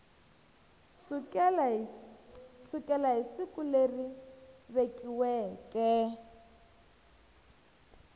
sukela hi siku leri vekiweke